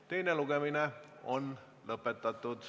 Teine lugemine on lõpetatud.